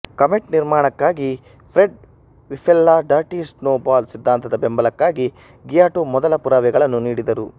comet ನಿರ್ಮಾಣಕ್ಕಾಗಿ Fred ವಿಪ್ಲೆಲ್ನ dirty snowball ಸಿದ್ಧಾಂತದ ಬೆಂಬಲಕ್ಕಾಗಿ ಗಿಯೋಟೊ ಮೊದಲ ಪುರಾವೆಗಳನ್ನು ನೀಡಿದರು